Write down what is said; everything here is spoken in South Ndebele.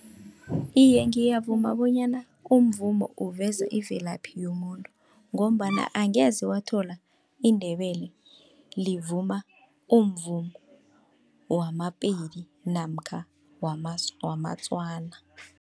Iye, ngiyavuma bonyana umvumo uveza ivelaphi yomuntu, ngombana angeze wathola iNdebele livuma umvumo wamaPedi namkha wamaTswana.